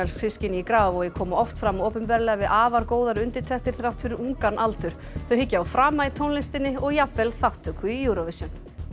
systkini í Grafarvogi koma oft fram opinberlega við afar góðar undirtektir þrátt fyrir ungan aldur þau hyggja á frama í tónlistinni og jafnvel þátttöku í Eurovision